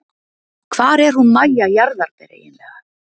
Hvar er hún Mæja jarðarber eiginlega?